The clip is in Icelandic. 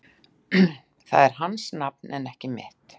Það er hans nafn en ekki mitt